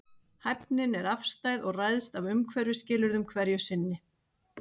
Hæfnin er afstæð og ræðst af umhverfisskilyrðum hverju sinni.